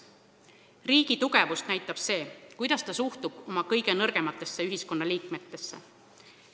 Riigi tugevust näitab see, kuidas ta suhtub oma kõige nõrgematesse ühiskonnaliikmetesse.